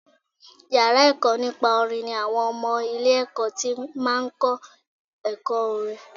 Yàrá ẹ̀kọ́ nípa orin ni àwọn ọmọ ilé ẹ̀kọ́ ti máa ń kọ́ ẹ̀kọ́ orin.